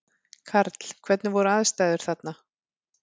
Karl: Hvernig voru aðstæður þarna?